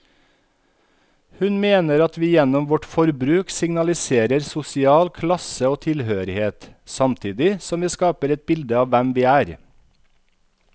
Hun mener at vi gjennom vårt forbruk signaliserer sosial klasse og tilhørighet, samtidig som vi skaper et bilde av hvem vi er.